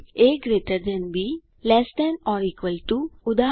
A GT B less than or equal to ઉદા